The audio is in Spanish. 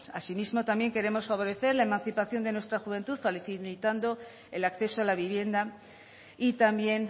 asimismo también queremos favorecer la emancipación de nuestra juventud facilitando el acceso a la vivienda y también